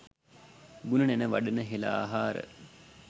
ගුණ නැණ වඩන හෙළ ආහාර